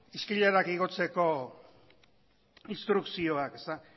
eskailerak igotzeko instrukzioak